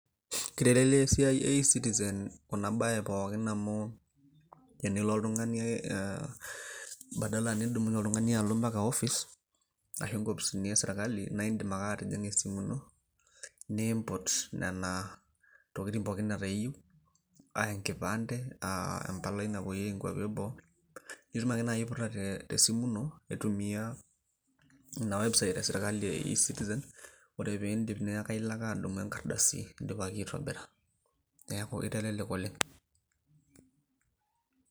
etetelelia esiai ecitizen kuna bae pookin amu badala tinilo oltung'ani ampaka office ashu inkopisini e sirikali naa idim ake atijing'a esimu ino nimput nena tokitin pooki aa enkipante ,naa idim naaji ake aiputa pooki tesimu ino .